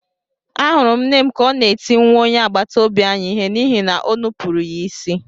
Ahụrụ m nne m ka ọ na-eti nwa onye agbataobi anyị ihe n’ihi na o nupụrụ ya isi.